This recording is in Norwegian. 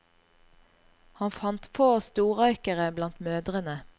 Han fant få storrøykere blant mødrene.